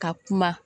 Ka kuma